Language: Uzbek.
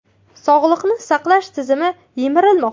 Sog‘liqni saqlash tizimi yemirilmoqda.